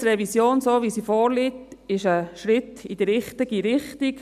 Die StG-Revision, wie sie vorliegt, ist ein Schritt in die richtige Richtung.